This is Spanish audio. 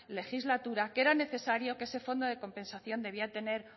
legislatura que era necesario que ese fondo de compensación debía tener